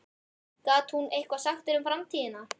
Gat hún eitthvað sagt þér um framtíðina?